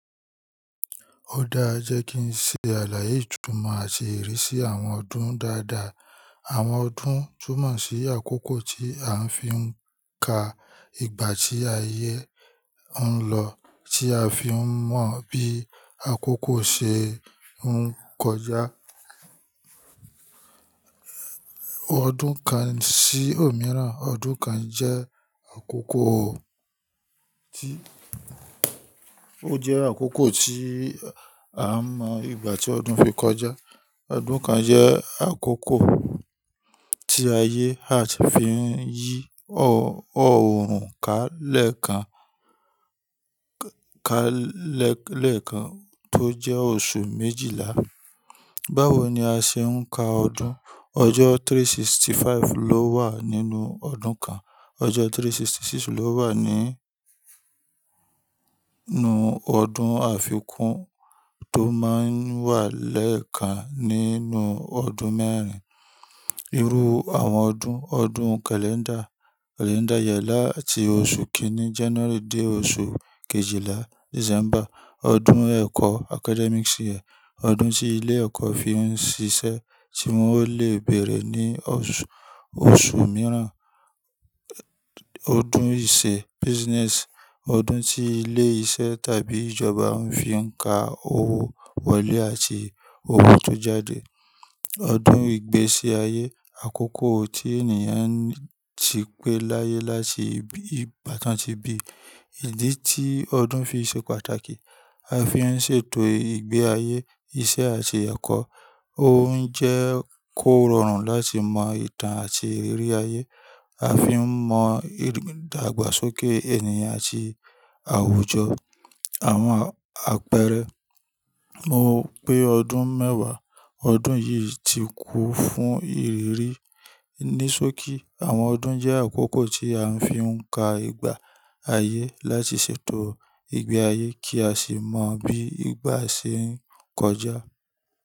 Ó dáa jẹ́ kí n ṣe àlàyé ìtumọ̀ àti ìrísí àwọn ọdún dáadáa. Àwọn ọdún túmọ̀ sí àkókò tí a ń fi ń ka ìgbà tí ayé ń lọ, tí a fi ń mọ bí àkókò ṣe ń kọjá. Ọdún kan sí òmíràn. Ọdún kan jẹ́ àkókò tí, ó jẹ́ àkókò tí a n mọ ìgbà tí ọdún fi kọjá. Ọdún kan jẹ́ àkókò tí ayé, Earth fi ń yí oọ̀rùn ká lẹ́ẹ̀kan, ká lẹ́ẹ̀kan tó jẹ́ oṣù méjìlá. Báwo ni a ṣe ń ka ọdún? Ọjọ́ three hundred and sixty-five ló wà nínú ọdún kan. Ọjọ́ three hundred and sixty-six ló wà nínú ọdún àfikún tó máa ń wà lẹ́ẹ̀kan nínú ọdún mẹ́rin. Irú àwọn ọdún. Ọdún kàléńdà, kàlẹ́ńdà yẹ láti oṣù kíní January dé oṣù kejìlá December. Ọdún ẹ̀kọ́ academic year, ọdún tí ilé ẹ̀kọ́ fi ń ṣiṣẹ́ tí wọn o le bẹ̀rẹ̀ ní oṣù, oṣù míràn. Ọdún ìṣe business, ọdún tí ilé iṣẹ́ tàbí ìjọba ń fi ń ka owó wọlé àti owó tó jáde. Ọdún ìgbésí ayé, àkókò tí ènìyàn ti pé láyé láti ìgbá tan tí bí. Ìdí tí ọdún fi ṣe pàtàkì. A fi ń ṣètò ìgbé ayé, iṣẹ́ àti ẹ̀kọ́. Ó ń jẹ́ kó rọrùn láti mọ ìtàn àti ìrírí ayé. A fi ń mọ ìdàgbàsókè ènìyàn àti àwùjọ. Àwọn àpẹẹrẹ. Mo pé ọdún mẹ́wàá. Ọdún yìí ti kún fún ìrírí. Ní sókí, àwọn ọdún jẹ́ àkókò tí a ń fi ń ka ìgbà ayé láti ṣètò ìgbé ayé kí a sì mọ bí ìgbà ṣe ń kọjá.